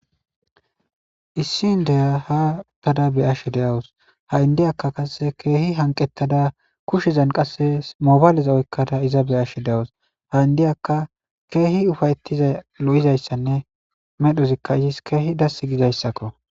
issi n deya ha uttada beyashe deyawus ha indiyakka kasese keehi hanqettada kushizan qasse mobaleza oykkada iza beyashe de7awus ha indiyaka keehi ufayetiza lo7izayssanne medhozikka izis keehi dass gizayssakko